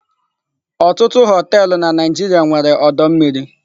Ọtụtụ họteelụ na Naijiria nwere ọdọ mmiri.